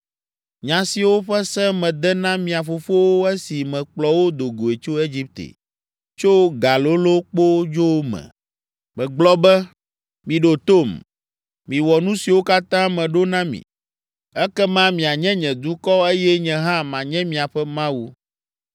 Nya siwo ƒe se mede na mia fofowo esi mekplɔ wo do goe tso Egipte, tso galolõkpodzo me.’ Megblɔ be, ‘Miɖo tom, miwɔ nu siwo katã meɖo na mi, ekema mianye nye dukɔ eye nye hã manye miaƒe Mawu.